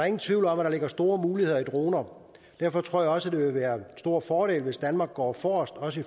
ingen tvivl om at der ligger store muligheder i droner derfor tror jeg også at det vil være en stor fordel hvis danmark går forrest også